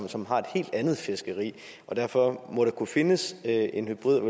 som har et helt andet fiskeri derfor må der kunne findes en hybrid og